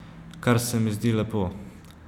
Kar se mi zdi lepo.